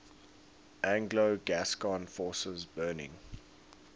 anglo gascon forces burning